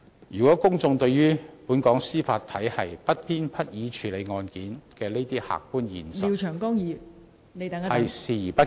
如果公眾對本港司法體系不偏不倚處理案件的這些客觀現實視而不見......